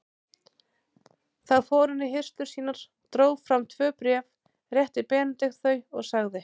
Þá fór hann í hirslur sínar, dró fram tvö bréf, rétti Benedikt þau og sagði